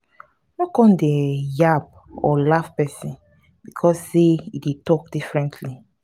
no come go dey um yab or laugh pesin becos say e dey talk differently.